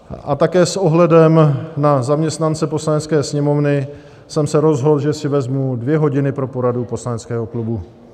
A také s ohledem na zaměstnance Poslanecké sněmovny jsem se rozhodl, že si vezmu dvě hodiny pro poradu poslaneckého klubu.